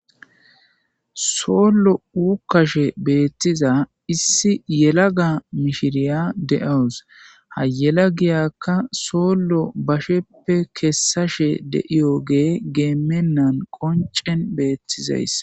Sollo wukkashe beettiza issi yela ga mishiriya de'owus hayela giyakka sollo basheppe keessashe deiyo gee geemennan qoncen beettizays.